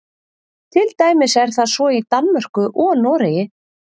Til dæmis er það svo í Danmörku og Noregi.